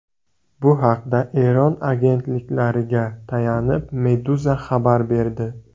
Bu haqda Eron agentliklariga tayanib, Meduza xabar berdi .